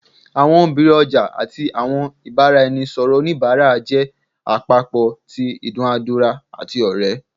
Awọn obirin ọja ati awọn ibaraẹnisọrọ onibara jẹ apopọ ti idunadura ati ore